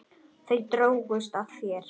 Þau drógust að þér.